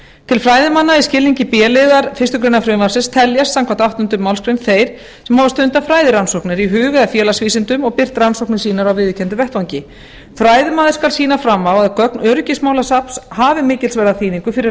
til fræðimanna í skilningi þessarar greinar teljast þeir sem hafa stundað fræðirannsóknir í hug eða félagsvísindum og birt rannsóknir sínar á viðurkenndum vettvangi fræðimaður skal sýna fram á að gögn öryggismálasafns hafi mikilsverða þýðingu fyrir